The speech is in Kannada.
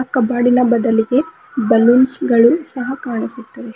ಕಬೋರ್ಡಿನ ಒಳಗೆ ಬಲ್ಲೂನ್ಸ್ ಗಳು ಸಹ ಕಾಣಿಸುತ್ತಿವೆ.